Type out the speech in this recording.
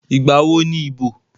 Ìgbà wo ni ìbò?